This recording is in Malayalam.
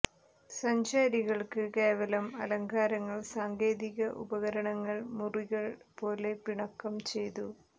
സഞ്ചാരികൾക്ക് കേവലം അലങ്കാരങ്ങൾ സാങ്കേതിക ഉപകരണങ്ങൾ മുറികൾ പോലെ പിണക്കം ചെയ്തു